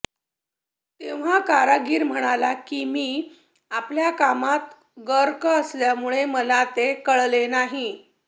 तेव्हा कारागीर म्हणाला की मी आपल्या कामात गर्क असल्यामुळे मला ते कळले नाही